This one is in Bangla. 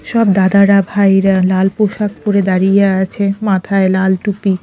সব দাদারা ভাইরা লাল পোশাক পরে দাঁড়িয়ে আছে মাথায় লাল টুপি।